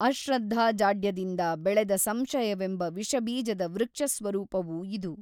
ಅಶ್ರದ್ಧಾಜಾಡ್ಯದಿಂದ ಬೆಳೆದ ಸಂಶಯವೆಂಬ ವಿಷಬೀಜದ ವೃಕ್ಷಸ್ವರೂಪವು ಇದು.